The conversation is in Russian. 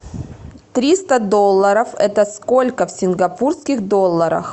триста долларов это сколько в сингапурских долларах